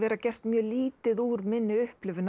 gert mjög lítið úr minni upplifun af